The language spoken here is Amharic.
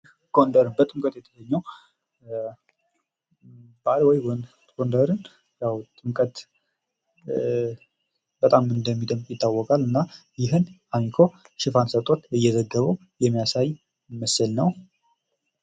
ጎንደርን በጥምቀት የተሰኘ ጎንደርን ያው ጥምቀት በጣም እንደሚደምቅ ይታወቃል ይህን አሚኮ ሽፋን ሰጥቶት የሚያሳይ ምስል ነው::